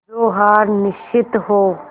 जो हार निश्चित हो